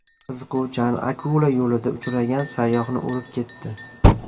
Qiziquvchan akula yo‘lida uchragan sayyohni urib ketdi.